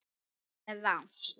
Það er rangt.